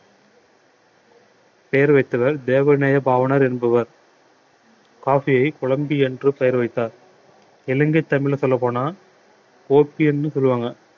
பெயர் வைத்தவர் தேவநேய பாவாணர் என்பவர் coffee யை கொழம்பி என்று பெயர் வைத்தார் இலங்கை தமிழ்ல சொல்லப்போனால் சொல்லுவாங்க